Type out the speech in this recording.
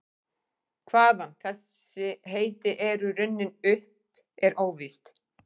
Hvaðan þessi heiti eru runnin er óvíst.